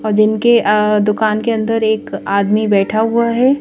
और इनके दुकान के अंदर एक आदमी बैठा हुआ है।